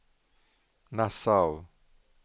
Nassau